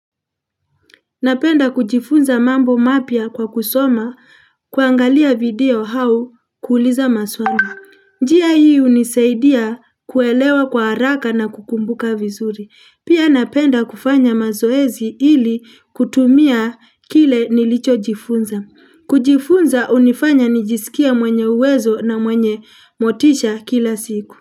Napenda kujifunza mambo mapya kwa kusoma, kuangalia video au kuuliza maswali. Njia hii hunisaidia kuelewa kwa haraka na kukumbuka vizuri. Pia napenda kufanya mazoezi ili kutumia kile nilichojifunza. Kujifunza hunifanya nijisikie mwenye uwezo na mwenye motisha kila siku.